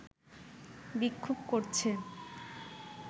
বিক্ষোভ করছে